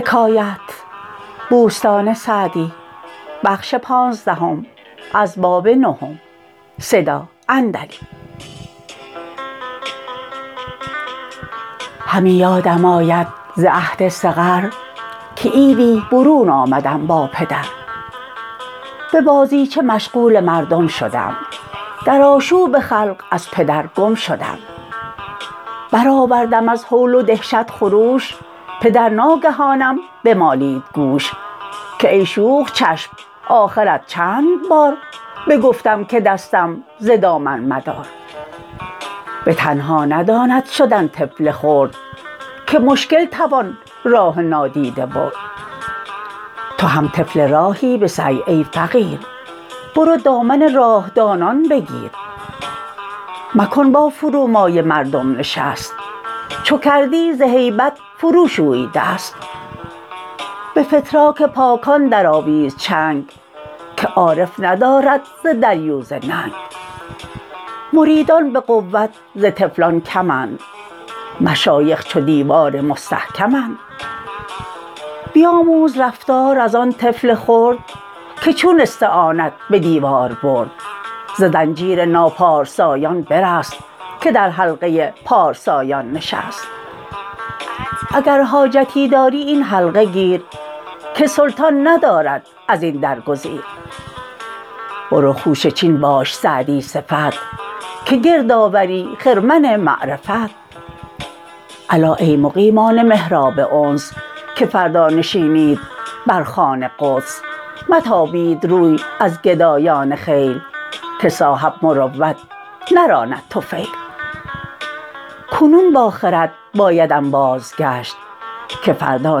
همی یادم آید ز عهد صغر که عیدی برون آمدم با پدر به بازیچه مشغول مردم شدم در آشوب خلق از پدر گم شدم برآوردم از هول و دهشت خروش پدر ناگهانم بمالید گوش که ای شوخ چشم آخرت چند بار بگفتم که دستم ز دامن مدار به تنها نداند شدن طفل خرد که مشکل توان راه نادیده برد تو هم طفل راهی به سعی ای فقیر برو دامن راه دانان بگیر مکن با فرومایه مردم نشست چو کردی ز هیبت فرو شوی دست به فتراک پاکان درآویز چنگ که عارف ندارد ز دریوزه ننگ مریدان به قوت ز طفلان کمند مشایخ چو دیوار مستحکمند بیاموز رفتار از آن طفل خرد که چون استعانت به دیوار برد ز زنجیر ناپارسایان برست که در حلقه پارسایان نشست اگر حاجتی داری این حلقه گیر که سلطان ندارد از این در گزیر برو خوشه چین باش سعدی صفت که گرد آوری خرمن معرفت الا ای مقیمان محراب انس که فردا نشینید بر خوان قدس متابید روی از گدایان خیل که صاحب مروت نراند طفیل کنون با خرد باید انباز گشت که فردا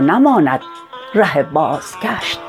نماند ره بازگشت